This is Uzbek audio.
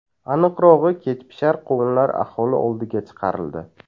Aniqrog‘i, kechpishar qovunlar aholi oldiga chiqarildi.